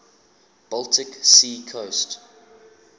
baltic sea coast